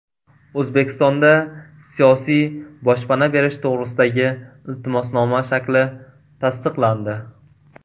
O‘zbekistonda siyosiy boshpana berish to‘g‘risidagi iltimosnoma shakli tasdiqlandi.